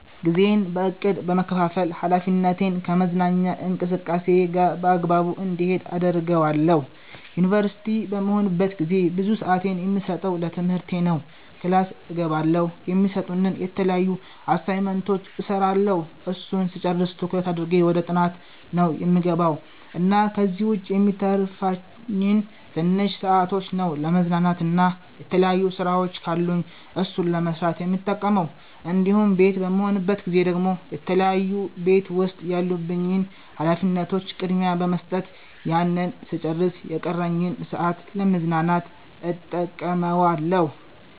ጊዜዬን በ እቅድ በመከፋፈል ሀላፊነቴን ከመዝናኛ እንቅስቃሴየ ጋር በአግባቡ እንዲሄድ አደርገዋለሁ። ዩንቨርሲቲ በምሆንበት ጊዜ ብዙ ስአቴን የምሰጠው ለትምህርቴ ነው ክላስ እገባለሁ፣ የሚሰጡንን የተለያዩ አሳይመንቶች እስራለሁ እሱን ስጨርስ ትኩረት አድርጌ ወደ ጥናት ነው የምገባው እና ከዚህ ዉጭ የሚተርፉኝን ትንሽ ሰአቶች ነው ለመዝናናት እና የተለያዩ ስራወች ካሉኝ እሱን ለመስራት የምጠቀመው እንዲሁም ቤት በምሆንበት ጊዜ ደግሞ የተለያዩ ቤት ዉስጥ ያሉብኝን ሀላፊነቶች ቅድሚያ በመስጠት ያንን ስጨርስ የቀረኝን ሰአት ለ መዝናናት እተቀመዋለሁ